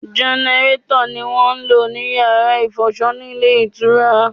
Gẹnẹrétọ̀ ni wọ́n ń lò ní Yàrá ìfọṣọ nílé ìtura.